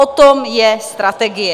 O tom je strategie.